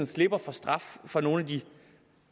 slipper for straf for nogle